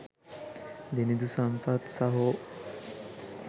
දිනිඳු සම්පත් සහෝ.